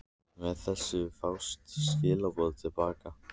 Með þessu fást skilaboðin til baka.